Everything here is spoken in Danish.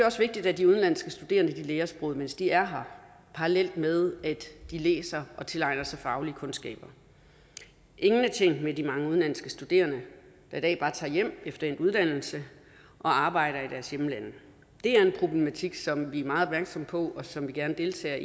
også vigtigt at de udenlandske studerende lærer sproget mens de er her parallelt med at de læser og tilegner sig faglige kundskaber ingen er tjent med de mange udenlandske studerende der i dag bare tager hjem efter endt uddannelse og arbejder i deres hjemlande det er en problematik som vi er meget opmærksomme på og som vi gerne deltager